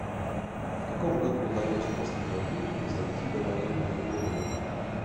в каком году удалось после войны превзойти довоенный уровень